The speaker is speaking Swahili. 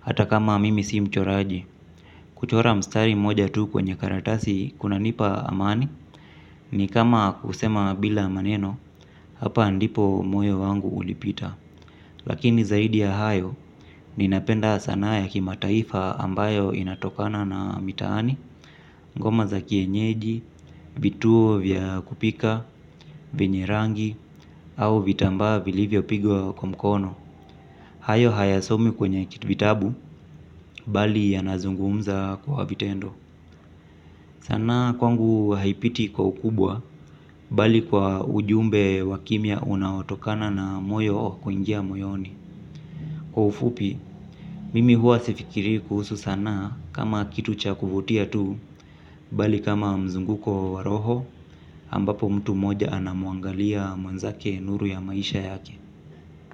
hata kama mimi sii mchoraji. Kuchora mstari mmoja tu kwenye karatasi, kuna nipa amani. Ni kama kusema bila maneno, hapa ndipo moyo wangu ulipita. Lakini zaidi ya hayo, ninapenda sanaa ya kimataifa ambayo inatokana na mitaani. Ngoma za kienyeji, vituo vya kupika, venye rangi, au vitambaa vilivyo pigwa kwa mkono. Hayo haya somi kwenye vitabu, bali ya nazungumza kwa vitendo. Sanaa kwangu haipiti kwa ukubwa, bali kwa ujumbe wa kimya unaotokana na moyo kuingia moyoni. Kwa ufupi, mimi hua sifikirii kuhusu sanaa kama kitu cha kuvutia tu, bali kama mzunguko wa roho, ambapo mtu moja anamuangalia mwanzake nuru ya maisha yake.